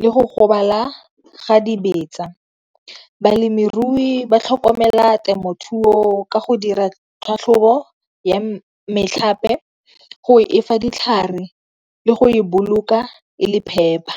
le go gobala ga dibetsa. Balemirui ba tlhokomela temothuo ka go dira tlhatlhobo ya metlhape, go fa ditlhare, le go e boloka e le phepa.